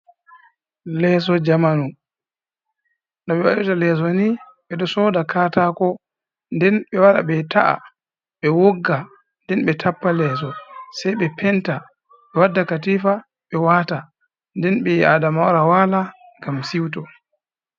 Leeso jamanu, no ɓe waɗirta leeso ni, ɓe ɗo sooda katako nden ɓe wara ɓe ta'a, ɓe wogga nden ɓe tappa leeso, sai ɓe penta, ɓe wadda katifa ɓe waata nden ɓi'aadama wara waala ngam si'uto.